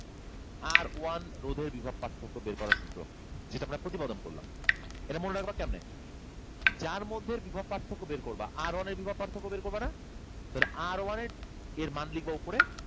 R one রোধের বিভব পার্থক্য বের করার সূত্র যেটা আমরা প্রতিপাদন করলাম। এটা মনেরাখবা কেমনে? যার মধ্যের বিভব পার্থক্য বের করবা, R one এর বিভব পার্থক্য বের করবা না? তাহলে R one এর মান লিখবা উপরে।